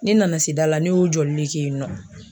Ne nana se da la ne y'o jɔli de kɛ yen nɔ.